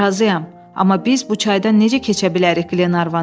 Razıyam, amma biz bu çaydan necə keçə bilərik, Qlenarvan dedi.